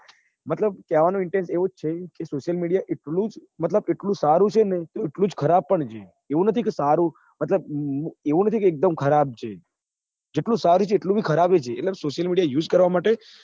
મતલબ કેવા નો intense એવું જ છે કે social media એટલું જ મતલબ જેટલું સારું છે એટલું ખરાબ પણ છે એવું નથી કે સારું મતલબ એવું નથી કે એકદમ ખરાબ છે જેટલું સારું છે એટલું જ ખરાબ પણ છે એટલે social mediause કરવા માટે